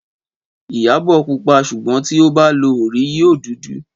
Ìyábò púpà súgbòn ti ò bà lò òrí yìó dúdù.